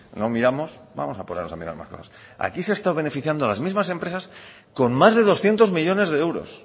no miramos vamos a ponernos a mirar más cosas aquí se ha estado beneficiando a las mismas empresas con más de doscientos millónes de euros